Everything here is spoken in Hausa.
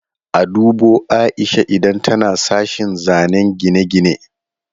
A dubo Aisha idan tana sashen zanen gine-gine.